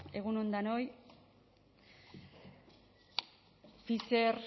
egun on denoi pfizer